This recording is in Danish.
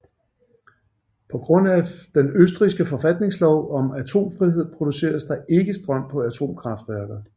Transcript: På grund af den østrigske forfatningslov om atomfrihed produceres der ikke strøm på atomkraftværker